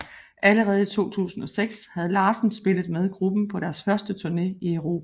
Allerede i 2006 havde Larsen spillet med gruppen på deres første turne i Europa